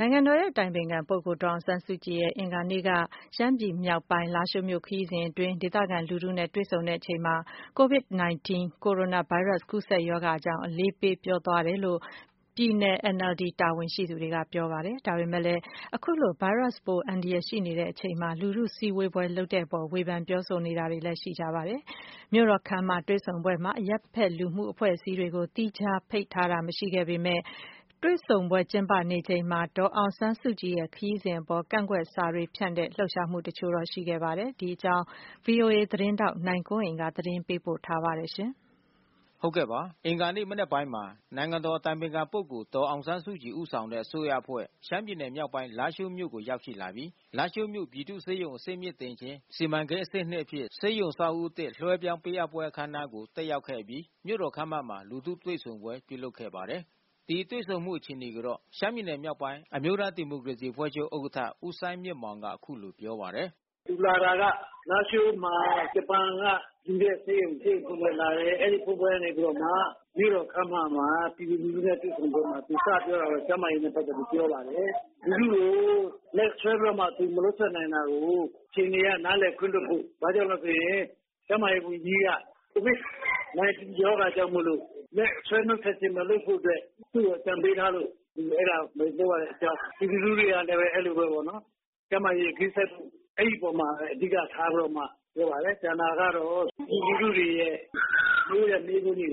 နိုင်ငံတော်အတိုင်ပင်ခံပုဂ္ဂိုလ် ဒေါ်အောင်ဆန်းစုကြည်ရဲ့ အဂါၤနေ့ ရှမ်းပြည်နယ် မြောက်ပိုင်းလားရှိုးမြို့ခရီးစဉ်အတွင်း ဒေသခံလူထုနဲ့ တွေ့ဆုံချိန်မှာ COVID-19 ကိုရိုနာဗိုင်းရပ်စ် ကူးစက်ရောဂါအကြောင်း အလေးပေးပြောဆိုသွားတယ်လို့ ပြည်နယ် NLD တာဝန်ရှိသူတွေက ပြောပါတယ်။ ဒါပေမဲ့လည်း အခုလို ဗိုင်းရပ်စ်ပိုး အန္တရာယ်ရှိနေချိန်မှာ လူထုစုဝေးပွဲ လုပ်တဲ့အပေါ် ဝေဖန်ပြောဆိုတာလည်း ရှိပါတယ်။ မြို့တော်ခန်းမမှာ ပြုလုပ်တဲ့တွေ့ဆုံပွဲမှာ အရပ်ဖက်လူမှုအဖွဲ့အစည်းတွေကို သီးခြားဖိတ်ကြားတာ မရှိခဲ့ဘဲ တွေ့ဆုံပွဲကျင်းပနေချိန်မှာ ဒေါ်အောင်ဆန်းစုကြည်ရဲ့ခရီးစဉ်အပေါ် ကန့်ကွက်စာတွေဖြန့်ဝေတဲ့ လှုပ်ရှားမှုတချို့လည်း ရှိခဲ့ပါတယ်။ ဒီအကြောင်း ဗွီအိုအေသတင်းထောက်နိုင်ကွန်းအိန်က သတင်းပေးပို့ထားပါတယ်။ အဂါၤနေ့ မနက်ပိုင်းမှာ နိုင်ငံတော်အတိုင်ပင်ခံပုဂ္ဂိုလ် ဒေါ်အောင်ဆန်းစုကြည် ဦးဆောင်တဲ့အစိုးရအဖွဲ့ ရှမ်းပြည်နယ် မြောက်ပိုင်း လားရှိုးမြို့ကို ရောက်ရှိလာပြီး လားရှိုးမြို့ ပြည်သူ့ဆေးရုံကြီး အဆင့်မြင့်တင်ခြင်းစီမံကိန်း (အဆင့်-၂) အဖြစ် ဆေးရုံအဆောက်အဦးသစ် လွှဲပြောင်းပေးအပ်ပွဲအခမ်းအနားကို တက်ရောက်ခဲ့အပြီး မြို့တော်ခန်းမမှာ လူထုတွေ့ဆုံပွဲ ပြုလုပ်ခဲ့ပါတယ်။ ဒီတွေ့ဆုံမှု အခြေအနေကိုတော့ ရှမ်းပြည်နယ်မြောက်ပိုင်း အမျိုးသားဒီမိုကရေစီဥက္ကဋ္ဌ ဦးစိုင်းမြင့်မောင်က အခုလို ပြောပါတယ်။ “သူလာတာက လားရှိုးမှာ ဂျပန်ကလှူတဲ့ဆေးရုံ ဆေးရုံဖွင့်ပွဲလာတယ်။ အဲဒီဖွင့်ပွဲကနေပြီးတော့မှ မြို့တော်ခန်းမမှာ ပြည်သူလူထုနဲ့ တွေ့ဆုံပွဲမှာ သူစပြောတာက ကျန်းမာရေးကိစ္စနဲ့ပက်သက်ပြီးပြောပါတယ်။ လူထုကို လက်ဆွဲပြီးတော့မှ သူ မနှုတ်ဆက်နိုင်တာကို အခြေအနေအရ နားလည်ခွင့်လွှတ်ဖို့။ ဘာကြောင့်လဲဆိုရင် ကျန်းမာရေးဝန်ကြီးက COVID-19 ရောဂါကြောင့်မို့လို့ လက်ဆွဲနှုတ်ဆက်ခြင်းမလုပ်ဖို့အတွက် သူ့ကိုအကြံပေးထားလို့ သူအဲတာမလုပ်ရတဲ့ အကြောင်း။ ပြည်သူလူထုကလည်း အဲဒီလိုပဲပေါ့နော် ကျန်းမာရေးဂရုစိုက်ဖို့။ အဲဒီအပေါ်မှာပဲ အဓိကထားပြီးတော့ ပြောပါတယ်။ ကျန်တာကတော့ ပြည်သူလူထုတွေရဲ့ မေးတဲ့မေးခွန်းတွေ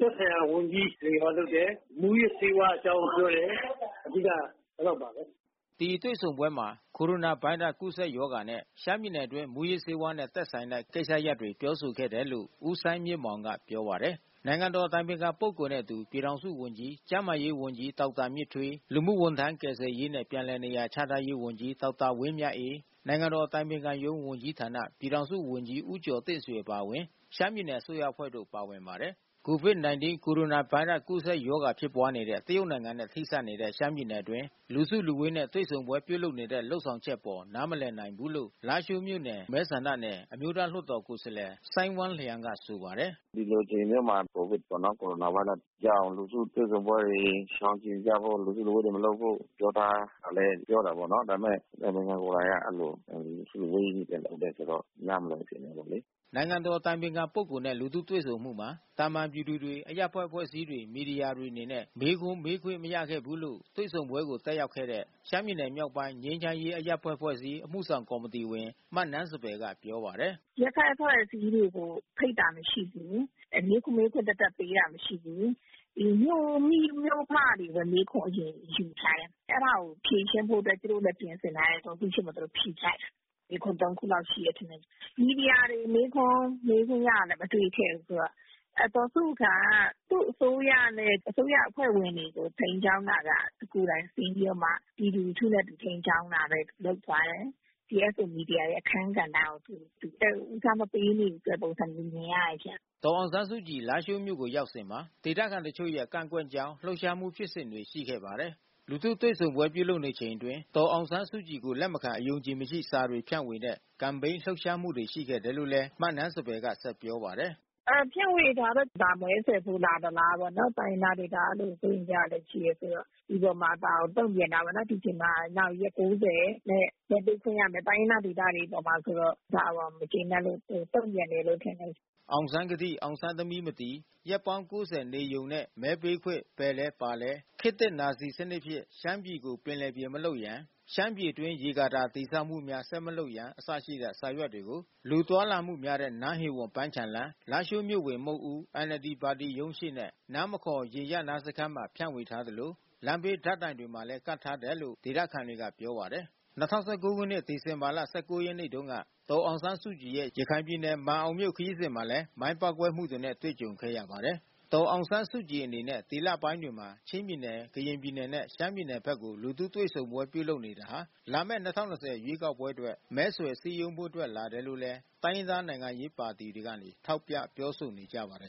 ကို သက်ဆိုင်ရာဝန်ကြီး ဖြေတာလုပ်တယ်။ မူးယစ်ဆေးဝါးအကြောင်းတွေ ပြောတယ်။ အဓိကက အဲဒီလောက်ပါပဲ။” ဒီလူထုတွေ့ဆုံပွဲမှာ ကိုရိုနာဗိုင်းရပ်စ်ကူးစက်ရောဂါနဲ့ ရှမ်းပြည်နယ်အတွင်း မူးယစ်ဆေးဝါးနဲ့ သက်ဆိုင်တဲ့ ကိစ္စရပ်တွေကို ပြောဆိုခဲ့တယ်လို့ ဦးစိုင်းမြင့်မောင်က ပြောပါတယ်။ နိုင်ငံတော်အတိုင်ပင်ခံပုဂ္ဂိုလ်နဲ့အတူ ပြည်ထောင်စုဝန်ကြီး ကျန်းမာရေးဝန်ကြီး ဒေါက်တာမြင့်ထွေး လူမှုဝန်ထမ်း ကယ်ဆယ်ရေးနဲ့ ပြန်လည်နေရာချထားရေးဝန်ကြီး ဒေါက်တာဝင်းမြတ်အေး နိုင်ငံတော်အတိုင်ပင်ခံရုံးဝန်ကြီးဌာန ပြည်ထောင်စုဝန်ကြီး ဦးကျော်တင့်ဆွေအပါဝင် ရှမ်းပြည်နယ်အစိုးရအဖွဲ့တို့ ပါဝင်ပါတယ်။ COVID-19 ကိုရိုနာဗိုင်းရပ်စ် ကူးစက်ရောဂါဖြစ်ပွါးနေတဲ့ တရုတ်နိုင်ငံနဲ့ ထိစပ်နေတဲ့ ရှမ်းပြည်နယ်အတွင်း လူစုလူဝေးနဲ့ တွေ့ဆုံပွဲပြုလုပ်နေတဲ့ လုပ်ဆောင်ချက်အပေါ် နားမလည်နိုင်ဘူးလို့ လားရှိုးမြို့နဲဆန္ဒနယ် အမျိုးသားလွှတ်တော် ကိုယ်စားလှယ်စိုင်းဝမ်းလျန်းကဆိုပါတယ်။ “ဒီလိုအချိန်မျိုးမှာ COVID-ပေါ့နော် ကိုရိုနာဗိုင်းရပ်စ်ရောဂါကြောင့် လူထုတွေ့ဆုံပွဲတွေ ရှောင်ကြဉ်ကြဖို့ လူစုလူဝေးတွေ မလုပ်ဖို့ ပြောထားတာလည်း ပြောတာပေါ့နော်။ ဒါပေမဲ့ အတိုင်ပင်ခံကိုယ်တိုင်က အဲဒီလို လူအစုအဝေးကြီး လုပ်တဲ့အခါကျတော့ နားမလည်ဘူးဖြစ်နေတာပေါ့လေ။” နိုင်ငံတော်အတိုင်ပင်ခံပုဂ္ဂိုလ်နဲ့ လူထုတွေ့ဆုံမှုမှာ သာမန်ပြည်သူတွေ အရပ်ဖက်အဖွဲ့အစည်းတွေ မီဒီယာတွေ အနေနဲ့ မေးခွန်းမေးခွင့်မရခဲ့ဘူးလို့ တွေ့ဆုံပွဲကိုတက်ရောက်ခဲ့တဲ့ ရှမ်းပြည်နယ်မြောက်ပိုင်း ငြိမ်းချမ်းရေးအရပ်ဖက် အဖွဲ့အစည်း အမှုဆောင်ကော်မီတီဝင် မနန်းစံပယ်က ပြောပါတယ်။ “အရပ်ဖက်အဖွဲ့အစည်းတွေ ဖိတ်တာမရှိဘူး။ မေးဖို့ မေးခွန်းသပ်သပ်ပေးတာ မရှိဘူး။ မြို့မိမြို့ဖတွေပဲ မေးဖို့အရင်ယူထားတယ်။ အဲတာကိုဖြေရှင်းဖို့အတွက် သူတို့လည်းပြင်ဆင်ထားတယ်ဆိုတော့ လူထုရှေ့မှာသူတို့ဖြေချတယ်။ မေးခွန်း ၃ ခုလောက်ရှိတယ်ထင်တယ်။ မီဒီယာတွေမေးခွန်းမေးခွင့်ရတာလဲ မတွေ့ခဲ့ရဘူးဆိုတော့။ ဒေါ်စုက သူ့အစိုးရနဲ့ အစိုးရအဖွဲ့ဝင်တွေကို ထိန်းကြောင်းတာက သူကိုယ်တိုင်ထိန်းပြီးတော့မှ ပြည်သူလူထုနဲ့ သူထိန်းကြောင်း သွားတာ ဘဲလုပ်သွားတယ်။ CSO မီဒီယာတွေရဲ့အခန်းကဏ္ဍကို သူသိပ်ဦးစားမပေးနေဘူးဆိုတဲ့ ပုံစံမျိုးမြင်ရတယ်ရှင့်။” ဒေါ်အောင်ဆန်းစုကြည် လားရှိုးမြို့ကို ရောက်စဉ်မှာ ဒေသခံတချို့ရဲ့ကန့်ကွက်ကြောင်း လှုပ်ရှားမှုဖြစ်စဉ် တွေရှိခဲ့ပါတယ်။ လူထုတွေ့ဆုံပွဲ ပြုလုပ်နေချိန်အတွင်း ဒေါ်အောင်ဆန်းစုကြည်ကို လက်မခံ အယုံအကြည်မရှိ စာတွေဖြန့်ဝေတဲ့ ကမ်ပိန်းလှုပ်ရှားမှုရှိခဲ့တယ်လို့ မနန်းစံပယ်က ဆက်ပြောပါတယ်။ “ဖြန့်ဝေတာကတော့ ဒါမဲဆွယ်ဖို့ လာသလားပေါ့နော်။ တိုင်းရင်းသားဒေသကလည်း အဲဒီလိုစိုးရိမ်ကြတာလည်း ရှိတယ်ဆိုတော့။ ဒီအပေါ်မှာ ဒါကိုတုံ့ပြန်တာပေါ့နော်။ နောက်ဒီအချိန်မှာရက် ၉၀ နဲ့မဲပေးခွင့်ရမယ်။ တိုင်းရင်းသားဒေသတွေ အပေါ်မှာ ဆိုတော့ ဒါကိုမကျေနပ်လို့ တုန့်ပြန်တယ်လို့ထင်တယ်။” “အောင်ဆန်းကတိ အောင်ဆန်းသမီးမတည်” “ ရက်ပေါင်း ၉၀ နေရုံနဲ့ မဲပေးခွင့် ဘယ်လဲ၊ ဘာလဲ” ခေတ်သစ်နာဇီ စနစ် ဖြင့် ရှမ်းပြည်ကို ပင်လယ်ပြင်မလုပ်ရန် ၊ ရှမ်းပြည်အတွင်း ရေကာတာ တည်ဆောက်မှုများ ဆက်မလုပ်ရန် အစရှိတဲ့ စာရွက်တွေကို လူသွားလာမှုများတဲ့ နန်းဟေဝန် ပန်ခြံလမ်း၊ လားရှိုးမြို့ ဝင်မုခ်ဦး၊ NLD ပါတီရုံးရှေ့နဲ့ နားမခေါ် ယာဉ်ရပ်နားစခန်းမှာ ဖြန့်ဝေထားသလို လမ်းဘေး ဓာတ်တိုင်တွေမှာလည်း ကပ်ထားတယ်လို့ ဒေသ ခံတွေကပြောပါတယ်။ ၂၀၁၉ ခုနှစ် ဒီဇင်ဘာလ ၁၉ ရက်နေ့တုန်းက ဒေါ်အောင်ဆန်းစုကြည်ရဲ့ ရခိုင်ပြည်နယ်ခရီးစဉ်မှာလည်း မိုင်းပေါက်ကွဲ မှုတွေနဲ့တွေ့ကြုံခဲ့ရပါတယ်။ ဒေါ်အောင်ဆန်းစုကြည်အနေနဲ့ ဒီလပိုင်းတွေမှာ ချင်းပြည်နယ် ကရင်ပြည်နယ်နဲ့ ရှမ်းပြည်နယ်ဖက်ကို လူထုတွေ့ဆုံ ပွဲပြုလုပ်နေတာဟာ လာမဲ့ ၂၀၂၀ ရွေးကောက်ပွဲအတွက် မဲဆွယ်စည်းရုံးဖို့အတွက် လာတယ်လို့လည်း တိုင်းရင်းသား နိုင်ငံရေးပါတီတွေကနေ ထောက်ပြပြောဆိုနေကြပါတယ်